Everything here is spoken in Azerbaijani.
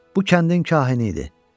Bu kəndin kahini idi.